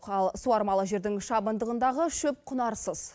ал суармалы жердің шабындығындағы шөп құнарсыз